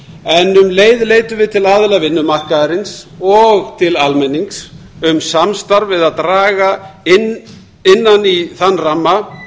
en um leið leitum við til aðila vinnumarkaðarins og til almennings um samstarf við að draga innan í þann ramma